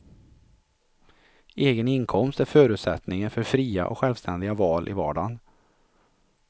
Egen inkomst är förutsättningen för fria och självständiga val i vardagen.